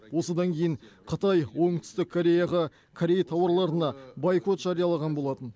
осыдан кейін қытай оңтүстік кореяға корей тауарларына бойкот жариялаған болатын